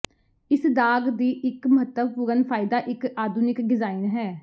ਇਸ ਦਾਗ ਦੀ ਇੱਕ ਮਹੱਤਵਪੂਰਨ ਫਾਇਦਾ ਇੱਕ ਆਧੁਨਿਕ ਡਿਜ਼ਾਈਨ ਹੈ